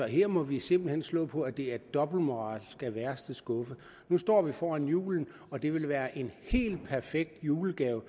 her må vi simpelt hen slå på at det er dobbeltmoral af værste skuffe nu står vi foran julen og det vil være en helt perfekt julegave